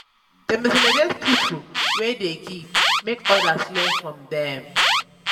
dem dey celebrate pipo wey dey give make odas learn from dem.